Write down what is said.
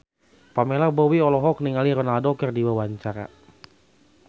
Pamela Bowie olohok ningali Ronaldo keur diwawancara